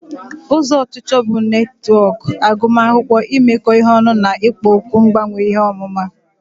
ụzọ ọchịchọ bụ netwọk agụmakwụkwọ, imekọ ihe ọnụ na ikpo okwu mgbanwe ihe ọmụma.